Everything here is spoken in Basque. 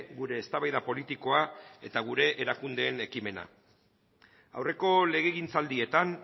gure eztabaida politikoa eta gure erakundeen ekimena aurreko legegintzaldietan